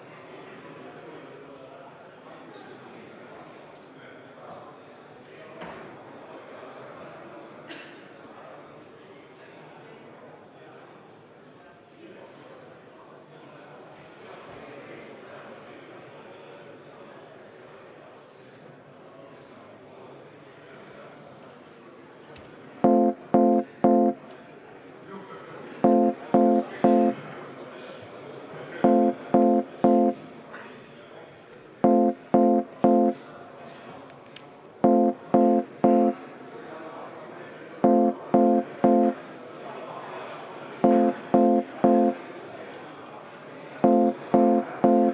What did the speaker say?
Juhatus otsustab selle edasise menetluse vastavalt Riigikogu kodu- ja töökorra seadusele.